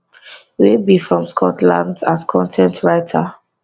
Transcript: wey be from scotland as con ten t writer